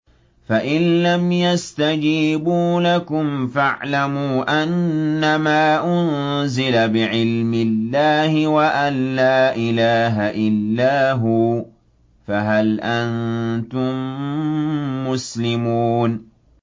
فَإِلَّمْ يَسْتَجِيبُوا لَكُمْ فَاعْلَمُوا أَنَّمَا أُنزِلَ بِعِلْمِ اللَّهِ وَأَن لَّا إِلَٰهَ إِلَّا هُوَ ۖ فَهَلْ أَنتُم مُّسْلِمُونَ